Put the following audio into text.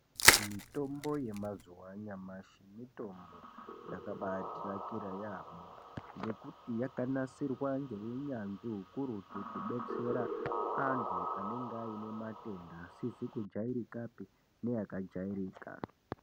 Mitombo yemazuva anyamashi mitombo yakaba tinakira yambo ngekuti yakanasirwa ngeunyanzvi ukurutu kudetsera antu anenge ane matenda asizi kujairika neakajairika.